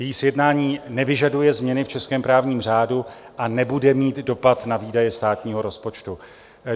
Její sjednání nevyžaduje změny v českém právním řádu a nebude mít dopad na výdaje státního rozpočtu.